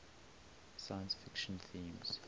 science fiction themes